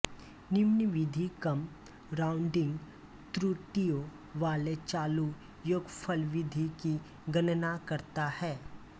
निम्न विधि कम राउंडिंग त्रुटियों वाले चालू योगफल विधि की गणना करता है